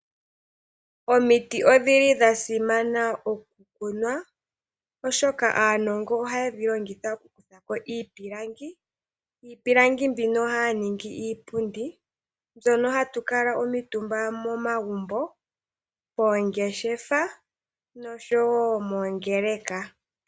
Omiti odhili dha simana oku kunwa oshoka aanongo ohaye dhi longitha oku kuthako iipilangi. Iipilangi mbyono haya longo mo iipundi mbyono hatu kuutumba momagumbo, moongeshefa osho wo moongeleka.